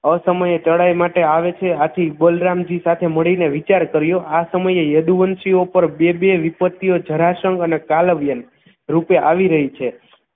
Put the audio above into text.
અસમય ચડાઇ માટે આવે છે આથી બલરામજી સાથે મળીને વિચાર કર્યો આ સમયે યદુવંશીઓ પર બે બે વિપત્તિઓ જરાસંઘ અને કાલવ્યન રૂપે આવી રહી છે